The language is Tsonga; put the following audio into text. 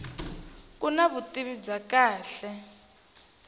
ku na vutivi bya kahle